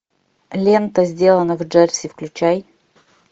лента сделано в джерси включай